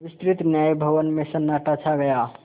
विस्तृत न्याय भवन में सन्नाटा छा गया